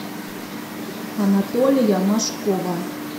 анатолия машкова